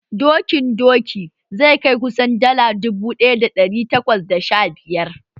Dokin doki zai kai kusan dala dubu ɗaya da ɗari takwas da sha biyar